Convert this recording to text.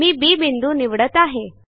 मी B बिंदू निवडत आहे